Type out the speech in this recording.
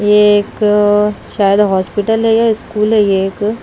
ये एक शायद हॉस्पिटल है या स्कूल है ये एक।